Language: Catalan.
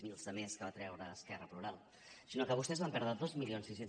zero de més que va treure esquerra plural sinó que vostès van perdre dos mil sis cents